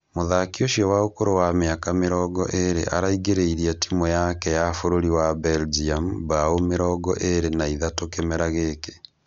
Mũthaki ũcio wa ũkũrũ wa mĩaka mĩrongo ĩrĩ araingĩrĩirie timũ yake ya bũrũri wa Belgium mbaũ mĩrongo ĩrĩ na ithatũ kĩmera gĩkĩ